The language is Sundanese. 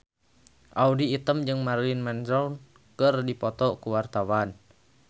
Audy Item jeung Marilyn Manson keur dipoto ku wartawan